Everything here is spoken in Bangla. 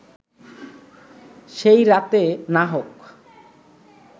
সেই রাতে না হোক